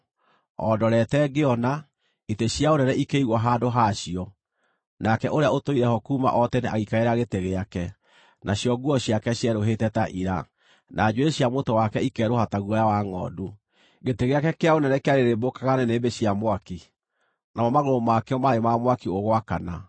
“O ndorete ngĩona, “itĩ cia ũnene ikĩigwo handũ ha cio, nake Ũrĩa-Ũtũire-ho-kuuma-o-Tene agĩikarĩra gĩtĩ gĩake. Nacio nguo ciake cierũhĩte ta ira; na njuĩrĩ cia mũtwe wake ikerũha ta guoya wa ngʼondu. Gĩtĩ gĩake kĩa ũnene kĩarĩrĩmbũkaga nĩnĩmbĩ cia mwaki, namo magũrũ makĩo maarĩ ma mwaki ũgwakana.